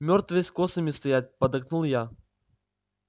мёртвые с косами стоят поддакнул я